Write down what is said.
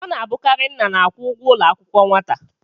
Ọ na-abụkarị nna na-akwụ ụgwọ ụlọ akwụkwọ nwata.